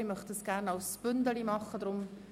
Diese möchte ich gerne gebündelt behandelt.